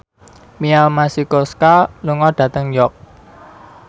Mia Masikowska lunga dhateng York